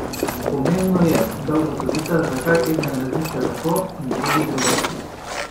Pomembno je, da ugotovita, zakaj eden razmišlja tako in drugi drugače.